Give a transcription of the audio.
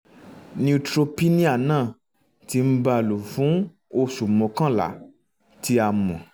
neutropenia náà ti ń bá a lọ fún oṣù mọ́kànlá tí a mọ̀